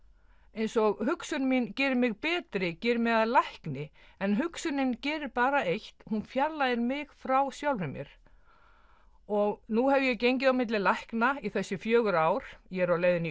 eins og hugsun mín geri mig betri geri mig að lækni en hugsunin gerir bara eitt hún fjarlægir mig frá sjálfri mér og nú hef ég gengið á milli lækna í þessi fjögur ár ég er á leiðinni í